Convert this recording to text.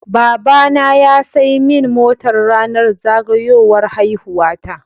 Baba na ya saimin mota rAnar zagayowar haihuwa ta